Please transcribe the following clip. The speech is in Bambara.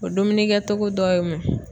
O dumuni kɛTogo dɔ ye mun ye?